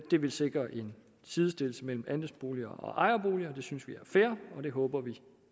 det vil sikre en sidestilling mellem andelsboliger og ejerboliger det synes vi er fair og det håber vi